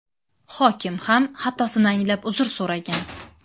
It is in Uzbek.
Hokim ham xatosini anglab uzr so‘ragan.